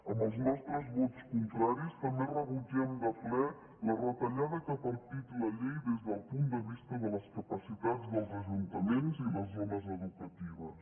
amb els nostres vots contraris també rebutgem de ple la retallada que ha partit la llei des del punt de vista de les capacitats dels ajuntaments i les zones educatives